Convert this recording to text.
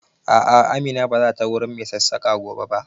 A'a, Amina ba za ta wurin mai sassaƙa gobe ba.